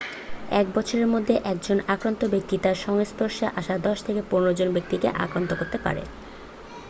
এক বছরের মধ্যে একজন আক্রান্ত ব্যক্তি তার সংস্পর্শে আসা 10 থেকে 15 জন ব্যাক্তিকে আক্রান্ত করতে পারে